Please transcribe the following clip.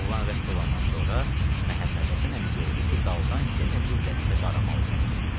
Bu oğlan rədd olandan sonra Məhəmməd Həsən əmi gördü ki, daldan yenə bir dəstə qaramal gəlir.